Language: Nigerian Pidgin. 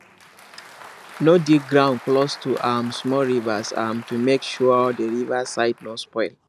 no dig ground close to um small rivers um to make sure the river side no spoil